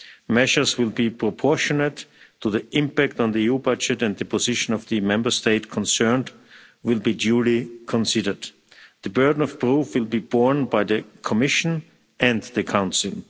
Measures will be proportionate to the impact on the EU budget and the position of the Member State concerned will be duly considered. The burden of proof will be borne by the Commission and the Council.